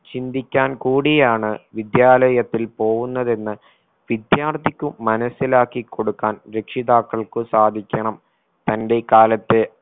ചിന്തിക്കാൻ കൂടിയാണ് വിദ്യാലയത്തിൽ പോകുന്നതെന്ന് വിദ്യാർത്ഥിക്ക് മനസിലാക്കി കൊടുക്കാൻ രക്ഷിതാക്കൾക്ക് സാധിക്കണം തന്റെ കാലത്തെ